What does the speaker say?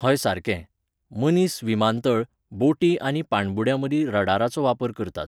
हय सारकें, मनीस विमानतळ, बोटी आनी पाणबुडयां मदीं रडाराचो वापर करतात.